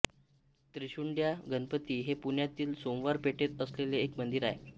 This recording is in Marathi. त्रिशुंड्या गणपती हे पुण्यातील सोमवार पेठेत असलेले एक मंदिर आहे